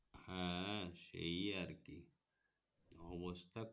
হ্যাঁ সেই আর কি অবস্থা